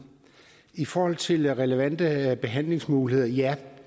i forhold til relevante behandlingsmuligheder ja